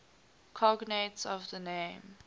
cognates of the name